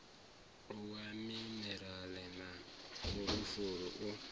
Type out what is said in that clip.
wa minirala na fulufulu u